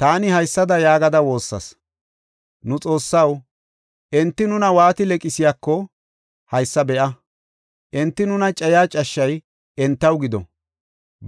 Taani haysada yaagada woossas; “Nu Xoossaw, enti nuna waati leqisiyako, haysa be7a! Enti nuna cayiya cashshay entaw gido.